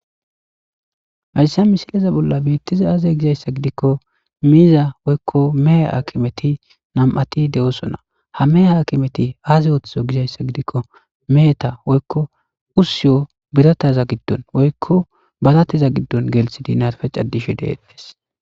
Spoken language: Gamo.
Haysa missileza bola betizay aze gizaysa gidiko miza woyko mehe akimeti nam'ati de'osona ha mehe akimeti aze othizo gizaysa gidiko meheta woyko usiyo birthaza gidon woyko barateza gidon gelidi narife c'adishe de'es.